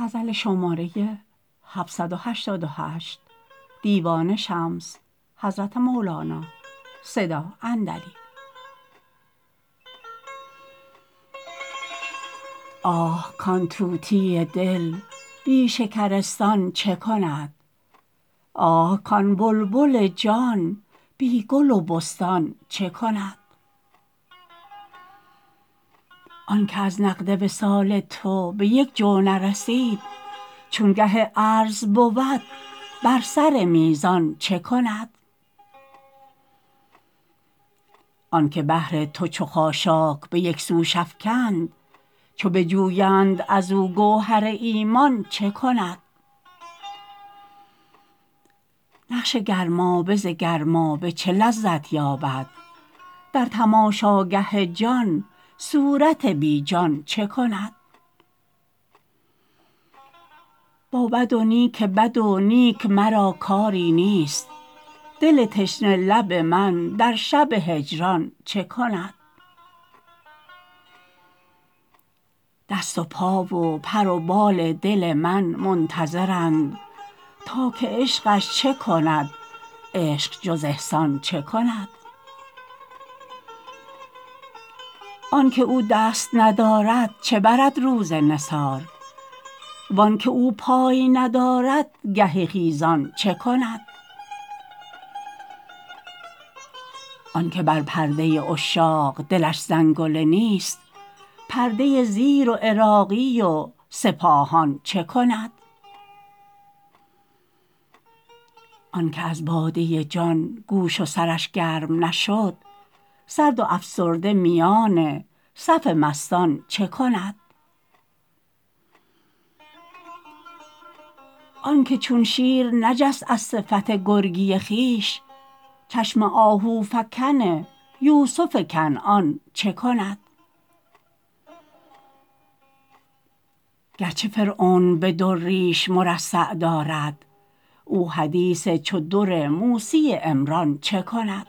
آه کان طوطی دل بی شکرستان چه کند آه کان بلبل جان بی گل و بستان چه کند آنک از نقد وصال تو به یک جو نرسید چو گه عرض بود بر سر میزان چه کند آنک بحر تو چو خاشاک به یک سوش افکند چو بجویند از او گوهر ایمان چه کند نقش گرمابه ز گرمابه چه لذت یابد در تماشاگه جان صورت بی جان چه کند با بد و نیک بد و نیک مرا کاری نیست دل تشنه لب من در شب هجران چه کند دست و پا و پر و بال دل من منتظرند تا که عشقش چه کند عشق جز احسان چه کند آنک او دست ندارد چه برد روز نثار و آنک او پای ندارد گه خیزان چه کند آنک بر پرده عشاق دلش زنگله نیست پرده زیر و عراقی و سپاهان چه کند آنک از باده جان گوش و سرش گرم نشد سرد و افسرده میان صف مستان چه کند آنک چون شیر نجست از صفت گرگی خویش چشم آهوفکن یوسف کنعان چه کند گرچه فرعون به در ریش مرصع دارد او حدیث چو در موسی عمران چه کند